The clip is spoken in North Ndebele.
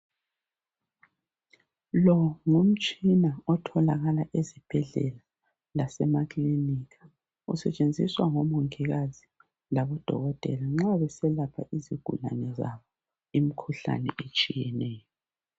Lowo ngumtshina otholakala ezibhedlela lasemakilinika usetshenziswa ngomongikazi labodokothela nxa beselapha izigulane labo emkhuhlane etshiyeneyo